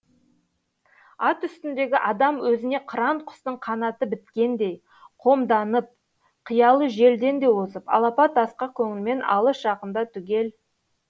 ат үстіндегі адам өзіне қыран құстың қанаты біткендей қомданып қиялы желден де озып алапат асқақ көңілмен алыс жақынды түгел